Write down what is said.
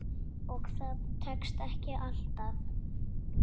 Og það tekst ekki alltaf.